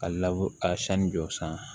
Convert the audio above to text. Ka ka sanni jɔ san